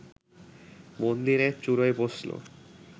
মন্দিরের চুড়োয় বসল